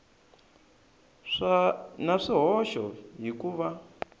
na swihoxo hi ku va